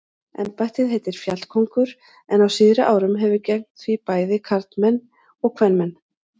Embættið heitir fjallkóngur en á síðari árum hafa gegnt því bæði karlmenn og kvenmenn.